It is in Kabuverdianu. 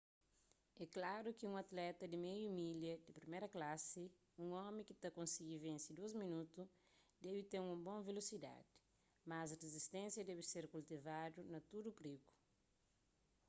é klaru ki un atleta di meiu milha di priméru klasi un omi ki ta konsigi vense dôs minotu debe ten un bon velosidadi mas rizisténsia debe ser kultivadu na tudu prigu